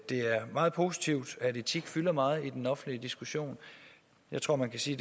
det er meget positivt at etik fylder meget i den offentlige diskussion jeg tror man kan sige